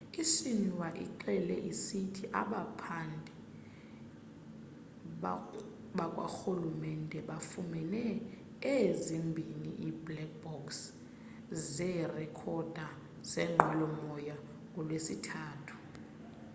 i-xinhua ixele isithi abaphandi bakwarhulumente bafumene ezimbhini ii-'black box' zeerekhoda zenqwelo-moya ngolwesithathu